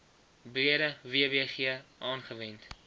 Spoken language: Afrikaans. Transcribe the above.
breede wbg aangewend